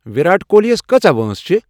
وِراٹ کوہلی یس کۭژاہ وٲنٛس چِھ؟